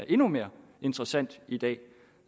endnu mere interessant i dag